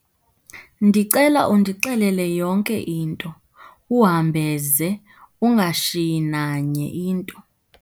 Ndicela undixelele yonke into, uhambe ze, ungashiyi nanye into